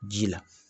Ji la